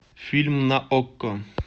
фильм на окко